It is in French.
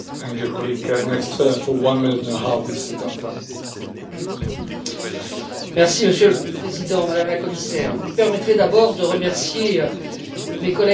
Monsieur le Président, Madame la Commissaire, vous me permettrez d'abord de remercier mes collègues, Albert Deß et Paolo De Castro, pour le climat de confiance dans lequel nous avons pu travailler tous les trois ensemble.